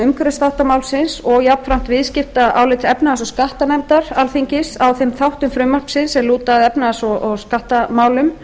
umhverfisþátta málsins og jafnframt álits efnahags og skattanefndar alþingis á þeim þáttum frumvarpsins sem lúta að efnahags og skattamálum